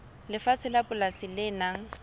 lefatshe la polasi le nang